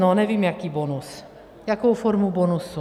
No, nevím jaký bonus, jakou formu bonusu.